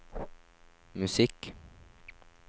musikk